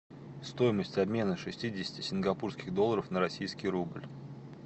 стоимость обмена шестидесяти сингапурских долларов на российский рубль